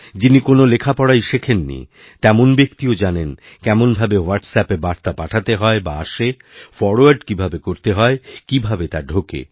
যিনি কোনও লেখাপড়াই শেখেন নি তেমন ব্যক্তিও জানেন কেমনভাবে হোয়াট্সঅ্যাপে বার্তা পাঠাতে হয় বা আসে ফরওয়ার্ড কীভাবে করতে হয় কীভাবে তা ঢোকে